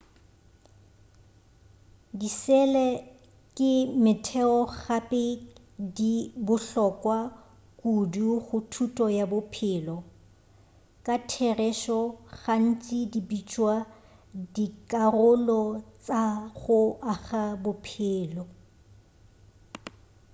disele ke motheo gape di bohlokwa kudu go thuto ya bophelo ka therešo gantši di bitšwa dikarolo tša go aga bophelo